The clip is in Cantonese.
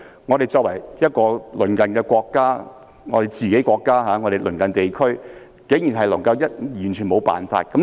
中國作為我們自己的國家，亦是香港的鄰近地區，我們竟然完全沒有辦法。